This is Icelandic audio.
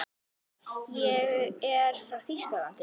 Ég er frá Þýskalandi.